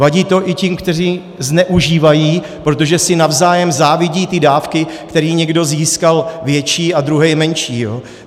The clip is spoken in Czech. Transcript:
Vadí to i těm, kteří zneužívají, protože si navzájem závidí ty dávky, které někdo získal větší a druhý menší.